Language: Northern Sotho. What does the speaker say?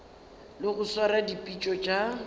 le go swara dipitšo tša